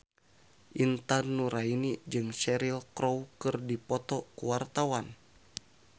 Intan Nuraini jeung Cheryl Crow keur dipoto ku wartawan